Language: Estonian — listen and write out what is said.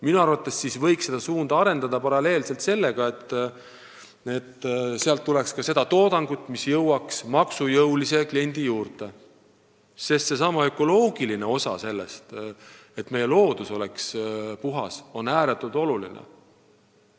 Minu arvates võiks seda suunda arendada paralleelselt sellega, et sealt tuleks ka maksujõulise kliendini jõudvat toodangut, sest selle ökoloogiline osa, et meie loodus oleks puhas, on ääretult oluline.